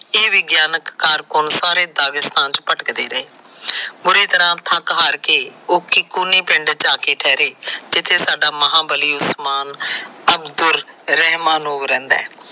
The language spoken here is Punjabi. ਇਹ ਵਿਗਿਆਨਕ ਸਾਰੇ ਦਾਰਿਗਸਥਾਨ ਚ ਭਟਕਦੇ ਰਹੇ। ਬੁਰੇ ਤਰਾ ਥੱਕ ਹਾਰ ਕੇ ਉਹ ਕੋਹਨੀ ਪਿਸ਼ਡ ਚ ਆਕੇ ਠਹਿਰੇ। ਜਿਥੇ ਸਾਡਾ ਮਹਾਬਲੀ ਉਸਮਾਨ ਅਬਦੁਲ ਰਹਿਮਾਨ ਰਹਿੰਦਾ ਹੈ।